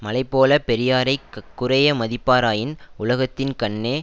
மலைபோலப் பெரியாரை குறைய மதிப்பாராயின் உலகத்தின் கண்ணே